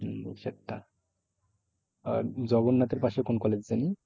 হম সাতটা আর জগন্নাথের পাশে কোন college যেন?